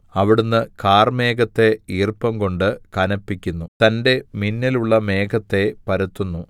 അവിടുന്ന് കാർമേഘത്തെ ഈർപ്പം കൊണ്ട് കനപ്പിക്കുന്നു തന്റെ മിന്നലുള്ള മേഘത്തെ പരത്തുന്നു